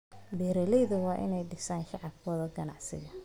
Beeraleydu waa inay dhisaan shabakado ganacsi.